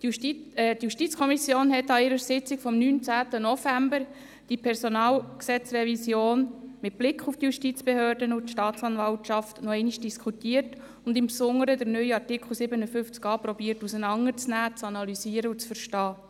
Die JuKo hat in ihrer Sitzung vom 19. November die Revision des PG mit Blick auf die Justizbehörde und die Staatsanwaltschaft noch einmal diskutiert und im Besonderen versucht, den Artikel 57a noch einmal auseinanderzunehmen, zu analysieren und zu verstehen.